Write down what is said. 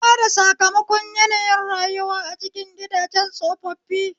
Bada sakamakon yanayin rayuwa a cikin gidajen tsofaffi